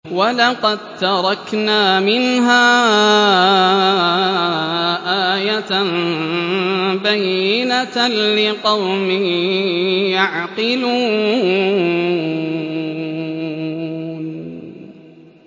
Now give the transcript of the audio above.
وَلَقَد تَّرَكْنَا مِنْهَا آيَةً بَيِّنَةً لِّقَوْمٍ يَعْقِلُونَ